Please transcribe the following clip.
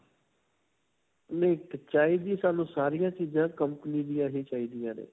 ਨਹੀਂ ਚਾਹੀਦੀ, ਸਾਨੂੰ ਸਾਰਿਆਂ ਚੀਜ਼ਾਂ company ਦੀਆਂ ਹੀ ਚਾਹੀਦੀਆਂ ਨੇ.